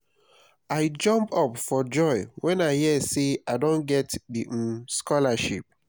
i jump up for joy wen i hear say i don get the um scholarship